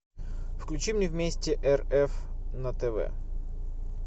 включи мне вместе рф на тв